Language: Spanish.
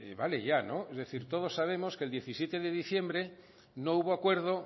vale ya es decir todos sabemos que el diecisiete de diciembre no hubo acuerdo